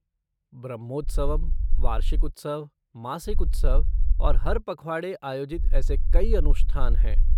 ब्रह्मोत्सवम, वार्षिक उत्सव, मासिक उत्सव और हर पखवाड़े आयोजित ऐसे कई अनुष्ठान हैं।